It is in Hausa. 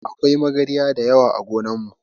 Akwai magarya dayawa ã gonan mu.